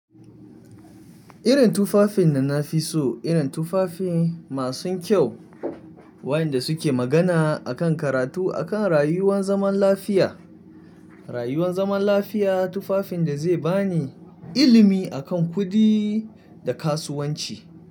Irin tufafin da na fi so, irin tufafi masu kyau waƴanda suke magana a kan karatu, a kan rayuwar zaman lafiya. Rayuwan zaman lafiya tufafin da zai ba ni ilimi a kan kuɗi da kasuwanci.